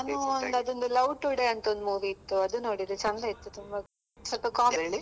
ನಾನು ಅದು ಒಂದು love today ಅಂತ ಒಂದ್ movie ಇತ್ತು ಅದು ನೋಡಿದೆ ಚಂದ ಇತ್ತು ತುಂಬಾ ಸ್ವಲ್ಪ .